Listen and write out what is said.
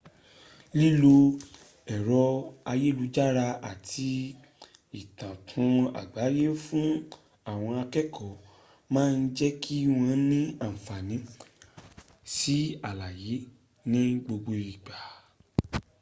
lilo ẹrọ ayelujara ati itakun-agbaye fun awọn akẹkọ maa jẹki wọn ni anfani si alaye ni gbogbo igba